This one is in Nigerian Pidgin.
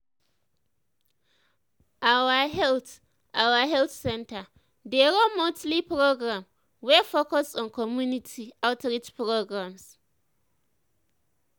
our health our health center dey run monthly program wey focus on community outreach programs.